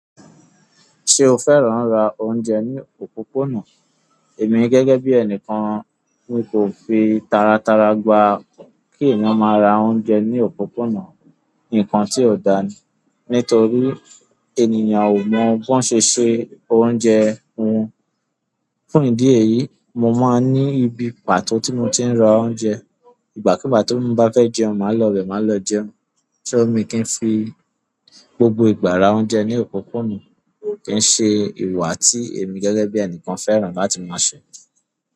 Se o fẹ́ràn ra oúnjẹ ni òpópónà? Èmi gẹ́gẹ́ bí ẹnìkan mi kò fi taratara gbà kí èeyàn máa ra oúnjẹ ní òpópónà. Ǹkan tí ò dáa ni, nítorí ènìyàn ò mọ bọ́n ṣe se oúnjẹ wọn. Fún ìdí èyí, mo máa ń ní ibi pàtó tí mo ti ń ra oúnjẹ. Ìgbàkúùgbà ti mo bá fẹ́ jẹun, màá lọ ibẹ̀, màá lọ jẹun. Só mi i kí n fi gbogbo ìgbà ra oúnjẹ ní òpópónà, kí n ṣe ìwà tí èmi gẹ́gẹ́ bí ẹnìkan fẹ́ràn láti máa ṣẹ̀